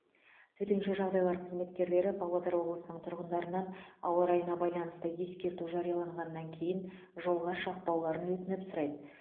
төтенше жағдайлар қызметкерлері павлодар облысының тұрғындарынан ауа райына байланысты ескерту жарияланғаннан кейін жолға шықпауларын өтініп сұрайды